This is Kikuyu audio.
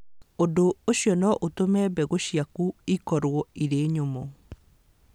Ũndũ ũcio no ũtũme mbegũ ciaku ikorũo irĩ nyũmũ.